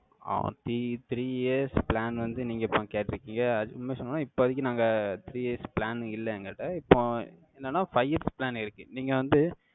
ஆஹ் three three years plan வந்து, நீங்க இப்ப கேட்டிருக்கீக. உண்மைய சொன்னா, இப்போதைக்கு, நாங்க, three years plan இல்லை, எங்கள்ட. இப்போ, என்னன்னா, five years plan இருக்கு. நீங்க வந்து,